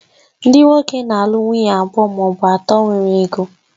Ndị nwoke na-alụ nwunye abụọ ma ọ bụ atọ nwere ego